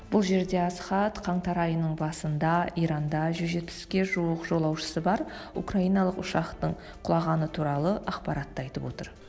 бұл жерде асхат қаңтар айының басында иранда жүз жетпіске жуық жолаушысы бар украиналық ұшақтың құлағаны туралы ақпаратты айтып отыр